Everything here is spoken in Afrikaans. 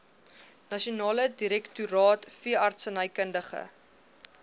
nasionale direktoraat veeartsenykundige